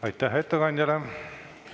Aitäh ettekandjale!